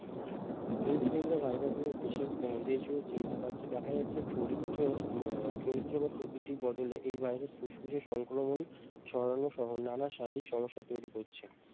influenza virus নিয়ে দেশে উম দেশ জুড়ে চিন্তা বাড়ছে দেখা যাচ্ছে চরিত্র উম চরিত্র বা প্রকৃতিক বদলে এই ভাইরাস ফুসফুসে সংক্রমণ ছড়ানো সহ না না শারীরিক সমস্যা তৈরী করছে।